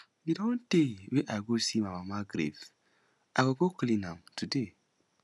e don tey wey i go see my mama grave i go go clean am today